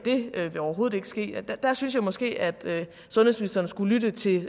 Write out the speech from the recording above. overhovedet ikke ske der synes jeg måske at sundhedsministeren skulle lytte til